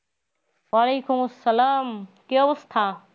ওয়ালিকুম আসসালাম। কি অবস্থা?